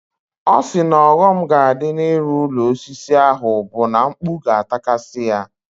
Ọ sị na ọghọm ga-adị n'ịrụ ụlọ osisi ahụ bụ na mkpu ga-atakasị ya.